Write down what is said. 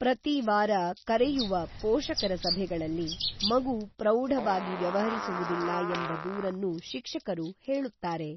ಪ್ರತಿ ವಾರ ಕರೆಯುವ ಪೋಷಕರ ಸಭೆಗಳಲ್ಲಿ ಮಗು ಪ್ರೌಢವಾಗಿ ವ್ಯವಹರಿಸುವುದಿಲ್ಲ ಎಂಬ ದೂರನ್ನು ಶಿಕ್ಷಕರು ಹೇಳುತ್ತಾರೆ.